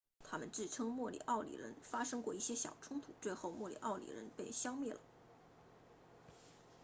他们自称莫里奥里人发生过一些小冲突最后莫里奥里人被消灭了